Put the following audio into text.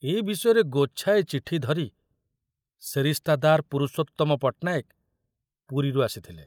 ଏ ବିଷୟରେ ଗୋଛାଏ ଚିଠି ଧରି ସେରିସ୍ତାଦାର ପୁରୁଷୋତ୍ତମ ପଟ୍ଟନାୟକ ପୁରୀରୁ ଆସିଥିଲେ।